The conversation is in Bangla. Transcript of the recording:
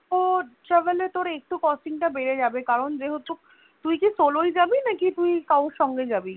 travel এ Costing টা একটু বেড়ে যাবে কারণ যেহেতু তুই কি Solo ই জাবি নাকি তুই কারোর সঙ্গে যাবি?